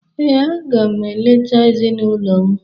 Ee, aga m eleta ezinụlọ m.